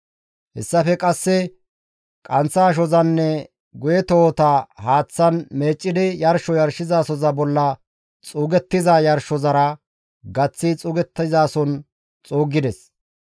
Hessafe qasseka qanththa ashozanne guye tohota haaththan meeccidi yarsho yarshizasoza bolla xuugettiza yarshozara issife gaththi xuugettizason xuuggides.